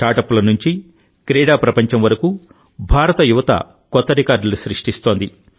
స్టార్టప్ల నుంచి క్రీడా ప్రపంచం వరకు భారత యువత కొత్త రికార్డులు సృష్టిస్తోంది